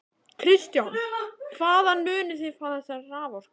Kristján: Hvaðan munið þið fá þessa raforku?